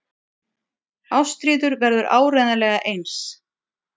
Ástríður verður áreiðanlega eins.